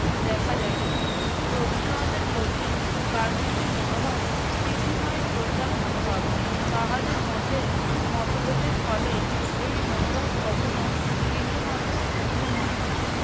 দেখা যায় না। রবীন্দ্রনাথের প্রতি গান্ধীজীর মনোভাব প্রীতিময় শ্রদ্ধার মনোভাব। তাহাদের মধ্যে মতভেদের ফলে এই মনোভাব কখনো বিন্দুমাত্র ক্ষুন্ন হয় নাই।